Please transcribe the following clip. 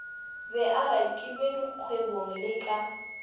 be arakilwe dikgwebong le ka